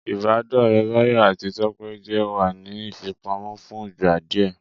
Ìbádọ́ọ̀rẹ́ Báyọ̀ àti Tọ́pẹ́ jẹ́ wà ní ìfipamọ́ fún ìgbà díẹ̀